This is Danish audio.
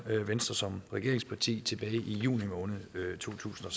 venstre som regeringsparti tilbage i juni måned to tusind og